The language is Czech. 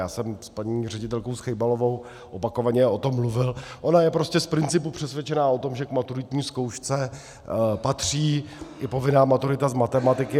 Já jsem s paní ředitelkou Schejbalovou opakovaně o tom mluvil, ona je prostě z principu přesvědčená o tom, že k maturitní zkoušce patří i povinná maturita z matematiky.